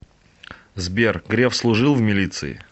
сбер греф служил в милиции